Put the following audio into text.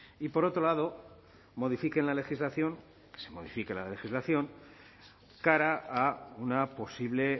y por otro lado modifiquen la legislación que se modifique la legislación cara a una posible